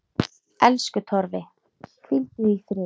Elsku Torfi, hvíldu í friði.